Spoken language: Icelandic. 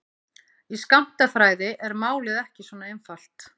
Í skammtafræði er málið ekki svona einfalt.